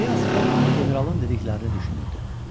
Fiq generalın dediklərini düşünürdü.